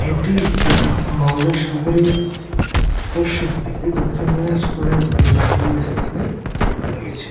এটি মালদা শহরে পশ্চিম দিকে দক্ষিণ দিনাজপুরের লাগোয়া স্থানে রয়েছে।